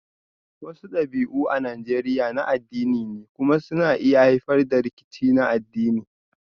Wasu dabi'u a Najeriya na addini ne kuma suna iya haifar da rikici na addini